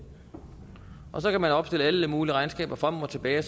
så kan man opstille alle mulige regnskaber frem og tilbage